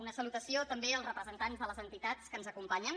una salutació també als representants de les entitats que ens acompanyen